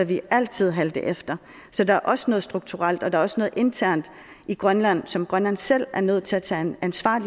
vi altid halte efter så der er også noget strukturelt og der er også noget internt i grønland som grønland selv er nødt til at tage ansvar